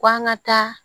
K'an ka taa